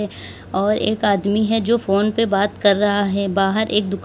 और एक आदमी है जो फोन पे बात कर रहा है बाहर एक दुकान--